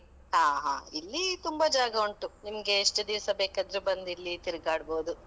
ಹ ಹಾ, ಇಲ್ಲೀ ತುಂಬಾ ಜಾಗ ಉಂಟು. ನಿಮ್ಗೆ ಎಷ್ಟು ದಿವ್ಸ ಬೇಕಾದ್ರೂ ಬಂದು ಇಲ್ಲಿ ತಿರ್ಗಾಡ್ಬೋದು.